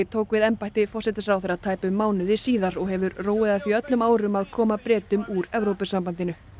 tók við embætti forsætisráðherra tæpum mánuði síðar og hefur róið að því öllum árum að koma Bretum úr Evrópusambandinu